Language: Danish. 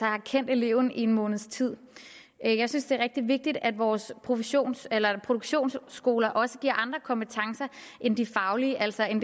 har kendt eleven en måneds tid jeg synes det er rigtig vigtigt at vores produktionsskoler produktionsskoler også giver andre kompetencer end de faglige altså end